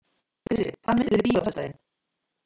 Krissi, hvaða myndir eru í bíó á föstudaginn?